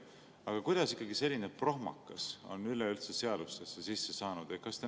Aga kuidas ikkagi selline prohmakas on üleüldse seadusesse sisse saanud?